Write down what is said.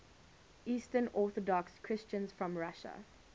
eastern orthodox christians from russia